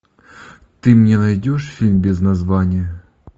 ты мне найдешь фильм без названия